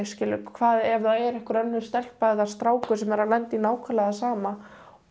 hvað ef að það er einhver önnur stelpa eða strákur sem er að lenda í nákvæmlega því sama